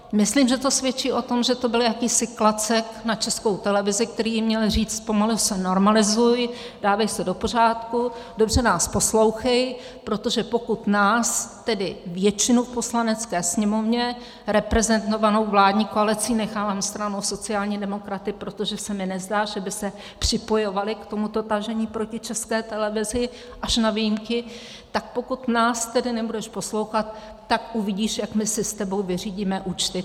Myslím, že to svědčí o tom, že to byl jakýsi klacek na Českou televizi, který jí měl říct: Pomalu se normalizuj, dávej se do pořádku, dobře nás poslouchej, protože pokud nás, tedy většinu v Poslanecké sněmovně reprezentovanou vládní koalicí - nechávám stranou sociální demokraty, protože se mi nezdá, že by se připojovali k tomuto tažení proti České televizi, až na výjimky - tak pokud nás tedy nebudeš poslouchat, tak uvidíš, jak my si s tebou vyřídíme účty.